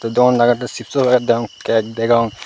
dokan daritun cipso pageket degong kake degong.